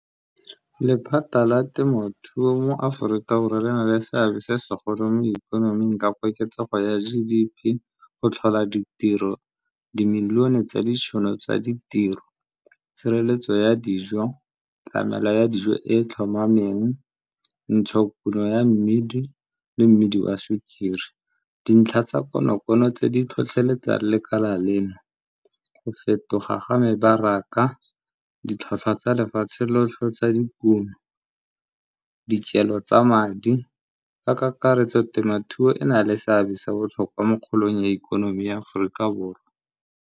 Lephata la temothuo mo Aforika Borwa le na le seabe se segolo mo ikonoming ka koketsego ya G_D_P go tlhola ditiro, dimilione tsa ditšhono tsa ditiro, tshireletso ya dijo, tlamelo ya dijo e e tlhomameng, ntshokuno ya mmidi le mmidi wa sukiri. Dintlha tsa konokono tse di tlhotlheletsang lekala leno, go fetoga ga mebaraka, ditlhotlhwa tsa lefatshe lotlhe tsa dipuo, dikelo tsa madi. Ka kakaretso temothuo e na le seabe sa botlhokwa mo kgolong ya ikonomi ya Aforika Borwa.